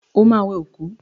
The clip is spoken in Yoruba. Ó ma wẹ òkú!